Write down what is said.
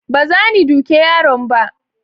baza ni duke yaron ba